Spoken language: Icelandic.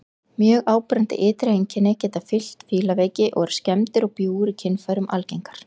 Mjög áberandi ytri einkenni geta fylgt fílaveiki og eru skemmdir og bjúgur í kynfærum algengar.